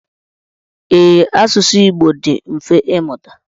Ee, asụsụ Igbo dị mfe ịmụta.